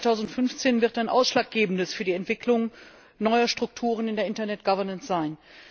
Das Jahr 2015 wird ein ausschlaggebendes für die Entwicklung neuer Strukturen in der Internet Governance sein.